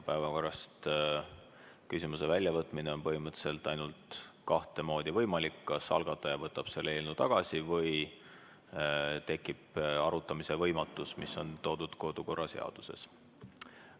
Päevakorrast küsimuse väljavõtmine on põhimõtteliselt võimalik ainult kahte moodi: kas algataja võtab selle eelnõu tagasi või tekib arutamise võimatus, mis on toodud kodukorraseaduses.